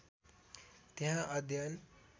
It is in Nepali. त्यहाँ अध्ययन